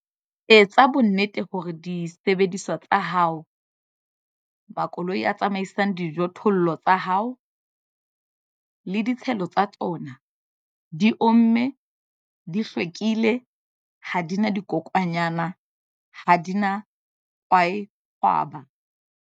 Etsa bonnete hore disebediswa tsa hao, makoloi a tsamaisang dijothollo tsa hao, le ditshelo tsa tsona, di omme, di hlwekile, ha di na dikokwanyana, ha di na kwaekgwaba.